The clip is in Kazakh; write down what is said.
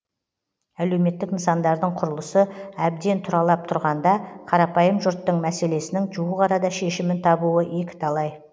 әлеуметтік нысандардың құрылысы әбден тұралап тұрғанда қарапайым жұрттың мәслесесінің жуық арада шешімін табуы екіталай